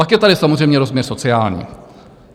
Pak je tady samozřejmě rozměr sociální.